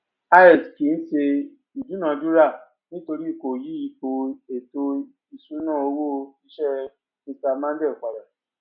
ix kìí ṣe ìdúnadúrà nítorí kò yí ipò ètò ìṣúná owó iṣẹ mr mondal pada